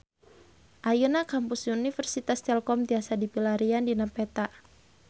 Ayeuna Kampus Universitas Telkom tiasa dipilarian dina peta